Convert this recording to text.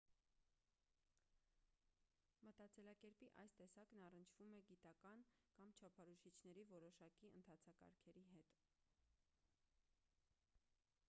մտածելակերպի այս տեսակն առնչվում է գիտական կամ չափորոշիչների որոշակի ընթացակարգերի հետ